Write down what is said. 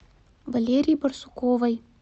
валерии барсуковой